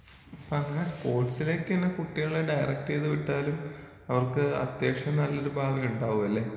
അപ്പൊ അങ്ങനെ സ്പോർട്സിലൊക്കേണ് കുട്ട്യാളെ ഡയറക്റ്റീത് വിട്ടാലും അവർക്ക് അത്യാവശ്യം നല്ലൊരു ഭാവിണ്ടാകും അല്ലെ